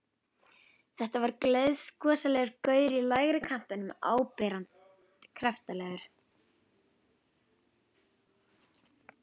Þetta var gleiðgosalegur gaur í lægri kantinum, áberandi kraftalegur.